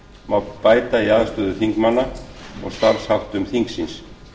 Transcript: má bæta i aðstöðu þingmanna og starfsháttum þingsins